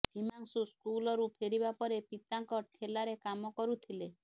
ହିମାଂଶୁ ସ୍କୁଲରୁ ଫେରିବା ପରେ ପିତାଙ୍କ ଠେଲାରେ କାମ କରୁଥିଲେ